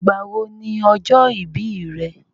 Ìgbà wo ni ọjọ́ ìbí re?